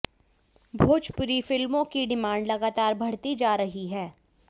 भोजपुरी फिल्मों की डिमांड लगातार बढ़ती जा रही है